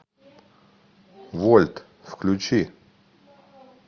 вольт включи